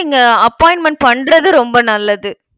நீங்க appointment பண்றது ரொம்ப நல்லது.